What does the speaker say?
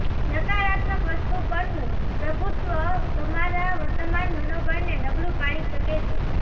નકારાત્મક વસ્તુ પરનું પ્રભુત્વ તમારા વર્તમાન મનોબળને નબળું પાડી શકે છે